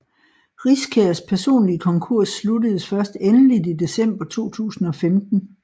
Riskærs personlige konkurs sluttedes først endeligt i december 2015